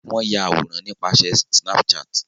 Wón àwòrán nípasẹ Snapchat